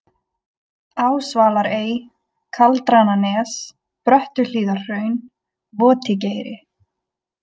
Ásvalarey, Kaldrananes, Bröttuhlíðarhraun, Votigeiri